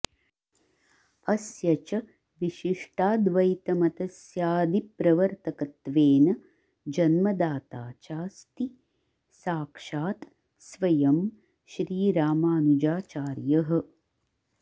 अस्य च विशिष्टाद्वैतमतस्याऽऽदिप्रवर्तकत्वेन जन्मदाता चास्ति साक्षात स्वयं श्रीरामानुजाचार्यः